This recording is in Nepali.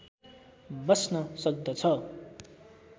बस्न सक्दछ